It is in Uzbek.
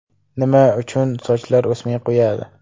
Nima uchun sochlar o‘smay qo‘yadi?.